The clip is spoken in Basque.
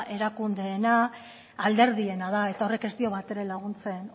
erakundeena alderdiena da eta horrek ez dio batere laguntzen